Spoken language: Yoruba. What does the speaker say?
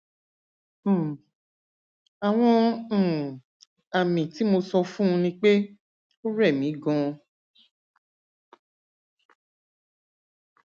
um àwọn um àmì tí mo sọ fún un ni pé ó rẹ mí ganan